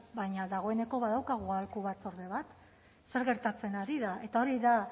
baina dagoeneko badaukagu aholku batzorde bat zer gertatzen ari da eta hori da